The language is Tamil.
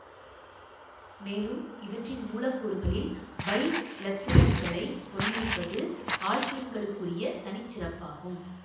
மேலும் இவற்றின் மூலக்கூறுகளில் பைஇலத்திரன்களைக் கொண்டிருப்பது ஆல்க்கீன்களுக்குரிய தனி சிறப்பு ஆகும்